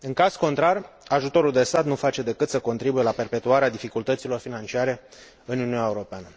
În caz contrar, ajutorul de stat nu face decât să contribuie la perpetuarea dificultăților financiare în Uniunea Europeană.